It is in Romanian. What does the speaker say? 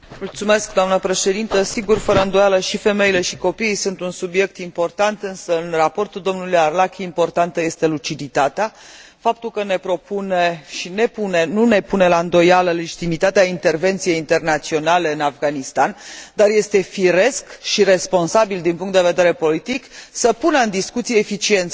Sigur, fără îndoială, și femeile, și copiii sunt un subiect important, însă în raportul dlui Arlacchi, importantă este luciditatea, faptul că ne propune și nu pune la îndoială legitimitatea intervenției internaționale în Afganistan, dar este firesc și responsabil din punct de vedere politic să pună în discuție eficiența acestei intervenții.